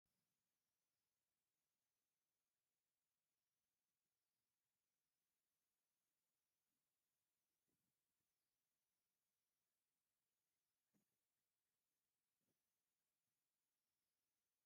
ኮምባይነር ትበሃል ማሽን በቲ ሓደ ገፅ እንዳዓፀደት በቲ ካልእ ገፅ ድማ ንእኽሊ ካብ ሓሰር ትፈሊ ኣላ፡፡ ናይዛ ማሽን ረብሓ እንታይ ምዃኑ ትፈልጡዎ ዶ?